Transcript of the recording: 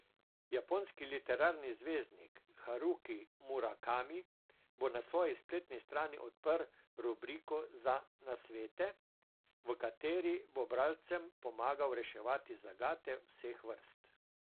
Japonski literarni zvezdnik Haruki Murakami bo na svoji spletni strani odprl rubriko za nasvete, v kateri bo bralcem pomagal reševati zagate vseh vrst.